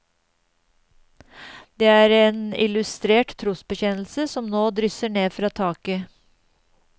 Det er en illustrert trosbekjennelse som nå drysser ned fra taket.